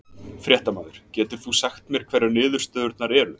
Fréttamaður: Getur þú sagt mér hverjar niðurstöðurnar eru?